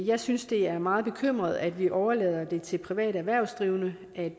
jeg synes det er meget bekymrende at vi overlader det til private erhvervsdrivende at